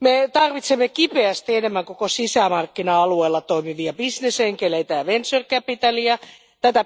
Me tarvitsemme kipeästi enemmän koko sisämarkkina alueella toimivia bisnesenkeleitä ja venture capitalia, tätä